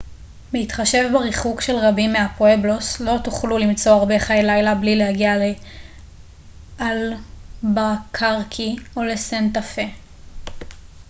בהתחשב בריחוק של רבים מהפואבלוס לא תוכלו למצוא הרבה חיי לילה בלי להגיע לאלבקרקי או לסנטה-פה